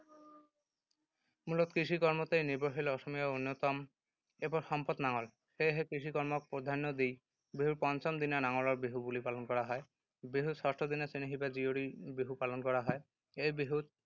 মূলত কৃষি-কৰ্মতেই নিৰ্ভৰশীল অসমীয়াৰ অন্যতম এপদ সম্পদ নাঙল। সেয়েহে কৃষিকৰ্মক প্ৰধান্য দি বিহুৰ পঞ্চম দিনা নাঙলৰ বিহু বুলি পালন কৰা হয়। বিহুৰ ষষ্ঠদিনা চেনেহী বা জীয়ৰী বিহু পালন কৰা হয়। এই বিহুত